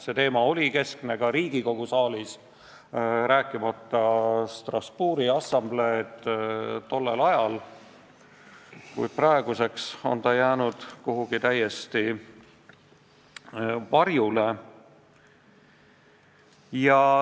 See teema oli tollel ajal keskne ka Riigikogu saalis, rääkimata Strasbourgi assambleest, kuid praeguseks on see jäänud kuidagi täiesti varjule.